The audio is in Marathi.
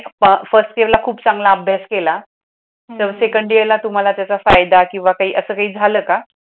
अह फर्स्ट इयरला तुम्ही खूप चांगला अभ्यास केला तर सेकंड इयरला तुमला त्याच्या फायदा केवा काही अस काही जाल का?